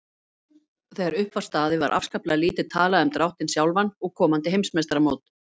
Þegar upp var staðið var afskaplega lítið talað um dráttinn sjálfan og komandi heimsmeistaramót.